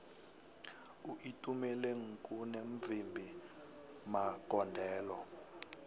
uitumelengkhune mvimbi magondelo